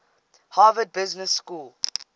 harvard business school